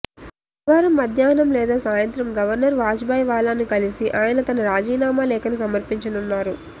గురువారం మధ్యాహ్నం లేదా సాయంత్రం గవర్నర్ వాజుభాయ్ వాలాను కలిసి ఆయన తన రాజీనామా లేఖను సమర్పించనున్నారు